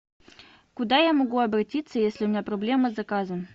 куда я могу обратиться если у меня проблема с заказом